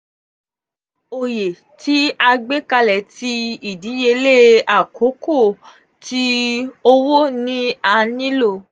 oye ti agbekale ti 'idiyele akoko' ti owo ni a nilo.